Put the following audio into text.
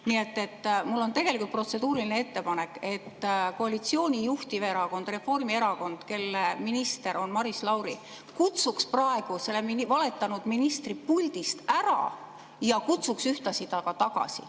Nii et mul on tegelikult protseduuriline ettepanek, et koalitsiooni juhtiv erakond Reformierakond, kelle minister Maris Lauri on, kutsuks praegu selle valetanud ministri puldist ära ja kutsuks ühtlasi ta ka tagasi.